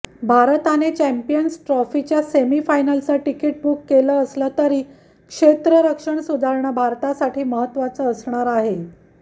भारताने चॅम्पियन्स ट्रॉफीच्या सेमीफायनलचं तिकीट बूक केलं असलं तरी क्षेत्ररक्षण सुधारणं भारतासाठी महत्वाचं असणार आहे